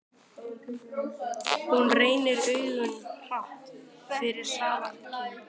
Hún rennir augunum hratt yfir salarkynnin.